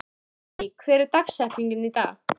Immý, hver er dagsetningin í dag?